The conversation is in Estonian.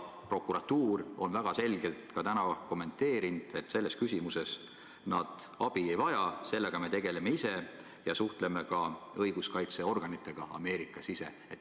Prokuratuur on täna väga selgelt kommenteerinud ka seda, et selles küsimuses nad abi ei vaja, sellega tegelevad nad ise ja ka Ameerika õiguskaitseorganitega suhtlevad nad ise.